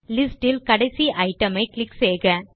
list இல் கடைசி item ஐ கிளிக் செய்க